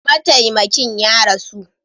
Mataimakin ya rasu.